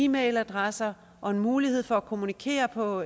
mail adresser og en mulighed for at kommunikere på